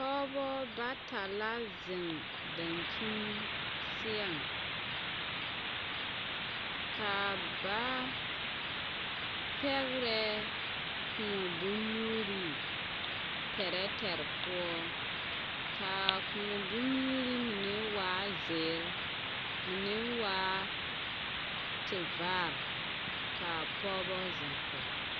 Pɔbɔ bata la zeŋ daŋkyiŋ seɛŋ ka ba pɛgrɛ koɔ bonyuuri tɛrɛtɛrɛ poɔ ka koɔ bonyuuri mine waa zeɛ mine waa tevaare ka a pɔgeba zeŋ kɔge.